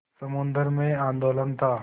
समुद्र में आंदोलन था